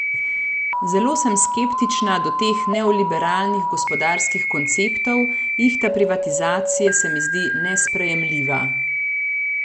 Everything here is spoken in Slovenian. Zelo sem skeptična do teh neoliberalnih gospodarskih konceptov, ihta privatizacije se mi zdi nesprejemljiva.